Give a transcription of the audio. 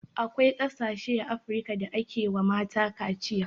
Akwai ƙasashe a afrika da ake wa mata kaciya